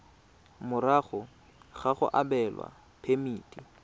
morago ga go abelwa phemiti